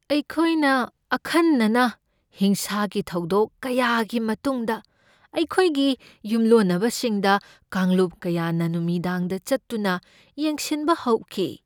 ꯑꯩꯈꯣꯏꯅ ꯑꯈꯟꯅꯅ ꯍꯤꯡꯁꯥꯒꯤ ꯊꯧꯗꯣꯛ ꯀꯌꯥꯒꯤ ꯃꯇꯨꯡꯗ ꯑꯩꯈꯣꯏꯒꯤ ꯌꯨꯝꯂꯣꯟꯅꯕꯁꯤꯡꯗ ꯀꯥꯡꯂꯨꯞ ꯀꯌꯥꯅ ꯅꯨꯃꯤꯗꯥꯡꯗ ꯆꯠꯇꯨꯅ ꯌꯦꯡꯁꯤꯟꯕ ꯍꯧꯈꯤ꯫